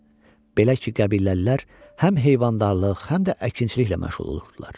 Belə ki, qəbiləlilər həm heyvandarlıq, həm də əkinçiliklə məşğul olurdular.